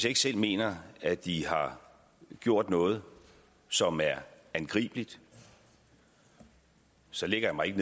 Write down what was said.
ikke selv mener at de har gjort noget som er angribeligt så lægger jeg mig ikke